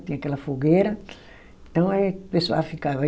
Tinha aquela fogueira, então aí o pessoal ficava.